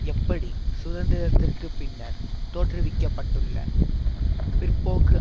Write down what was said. எப்படி சுதந்திரத்திற்கு பின்னர் தோற்றுவிக்க பட்டுள்ள பிற்போக்கு